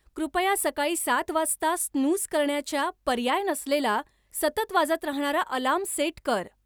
कृपया सकाळी सात वाजता स्नूझ करण्याच्या पर्याय नसलेला सतत वाजत राहणारा अलार्म सेट कर